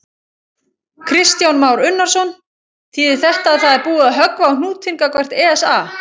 Kristján Már Unnarsson: Þýðir þetta að það er búið að höggva á hnútinn gagnvart ESA?